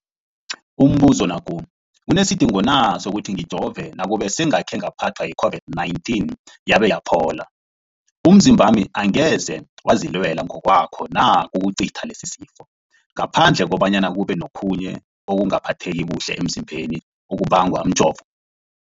Umbuzo, kunesidingo na sokuthi ngijove nakube sengakhe ngaphathwa yi-COVID-19 yabe yaphola? Umzimbami angeze wazilwela ngokwawo na ukucitha lesisifo, ngaphandle kobana kube nokhunye ukungaphatheki kuhle emzimbeni okubangwa mjovo?